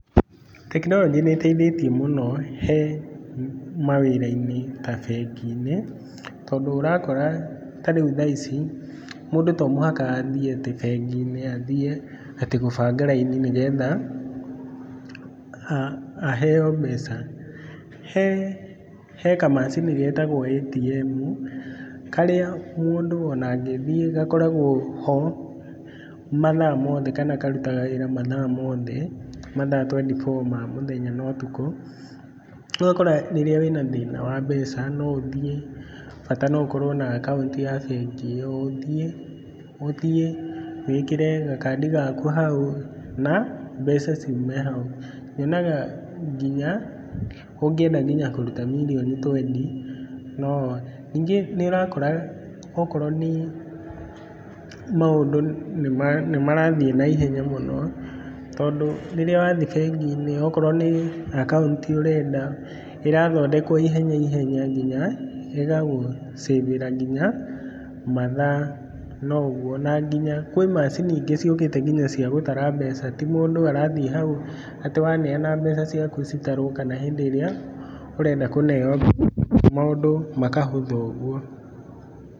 Tekinoronjĩ nĩĩteithĩtie mũno he, mawĩra-inĩ ta bengi-inĩ, tondũ ũrakora, tarĩu thaa ici, mũndũ to mũhaka athiĩ atĩ bengi-inĩ athiĩ atĩ gũbanga raini nĩgetha, aheo mbeca. He, he kamacini getagwo ATM, karĩa mũndũ ona angĩthiĩ gakoragwo ho, mathaa mothe kana karutaga wĩra mathaa mothe, mathaa twendi boo ma mũthenya na ũtukũ. Rĩu ũgakora rĩrĩa wĩna thĩna wa mbeca no ũthiĩ bata no ũkorwo na akaunti ya bengi ĩyo, ũthiĩ ũthiĩ wĩkĩre gakandi gaku hau na mbeca ciume hau. Nyonaga nginya ũngĩenda nginya kũruta nginya mirioni twendi no, ningĩ nĩũrakora okorwo nĩ maũndũ nĩmarathiĩ naihenya mũno, tondũ rĩrĩa wathiĩ bengi-inĩ okorwo nĩ akaunti ũrenda, ĩrathondekwo ihenya ihenya nginya ĩgagũ save ĩra nginya mathaa no ũguo na nginya kwĩ macini ingĩ ciũkĩte nginya cia gũtara mbeca, ti mũndũ arathiĩ hau atĩ waneana mbeca ciaku citarwo kana hĩndĩ ĩrĩa ũrenda kũneo, maũndũ makahũtha ũguo.